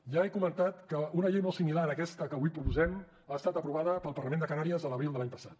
ja he comentat que una llei molt similar a aquesta que avui proposem ha estat aprovada pel parlament de canàries a l’abril de l’any passat